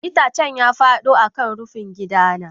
Itacen ya fado kan rufin gidana.